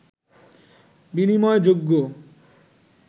বিনিময় যোগ্য